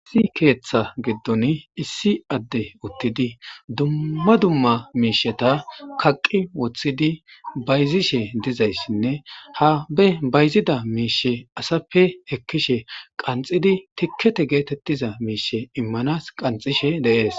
Issi keetha giddoni issi addey uttidi dumma dumma miisheta kaqqi wothidi bayzishe dizayssinne ha be bayzida miisheta asappe ekkishe qanxxidi tikkete geetettiza miisheta immanas qanxxishe de7ees.